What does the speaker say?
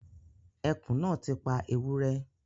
Ẹkùn náà ti pa ewúrẹ́